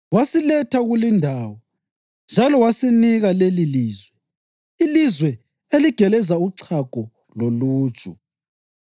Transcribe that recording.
Wasiletha kulindawo njalo wasinika lelilizwe, ilizwe eligeleza uchago loluju;